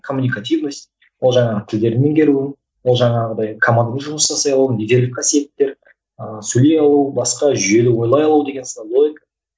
коммуникативность ол жаңағы тілдерді меңгеру ол жаңағыдай командамен жұмыс жасай алу қасиеттер ыыы сөйлей алу басқа жүйелі ойлай алу деген сынды ой